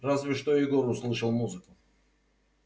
разве что егор услышал музыку